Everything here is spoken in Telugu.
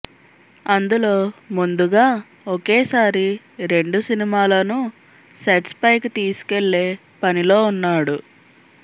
అందులో ముందుగా ఒకేసారి రెండు సినిమాలను సెట్స్ పైకి తీసుకెళ్ళే పనిలో ఉన్నాడు